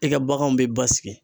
I ka baganw be basigi.